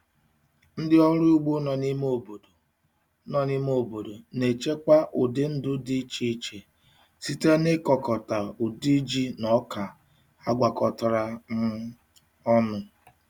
Ndị ọrụ ugbo nọ n'ime obodo nọ n'ime obodo na-echekwa ụdị ndụ dị iche iche site n'ịkọkọta ụdị ji na ọka agwakọtara um ọnụ.